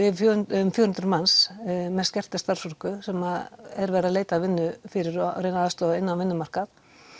um fjögur um fjögur hundruð manns með skerta starfsorku sem er verið að leita að vinnu fyrir og reyna að aðstoða þau inn á vinnumarkað